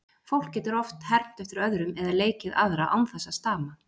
Fólk getur oft hermt eftir öðrum eða leikið aðra án þess að stama.